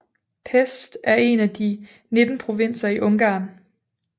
Pest er en af de 19 provinser i Ungarn